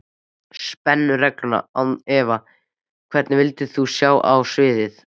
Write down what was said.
Spennu-reglunni án efa Hvern vildir þú sjá á sviði?